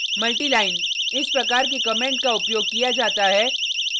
multi line इस प्रकार के कमेंट का उपयोग किया जाता है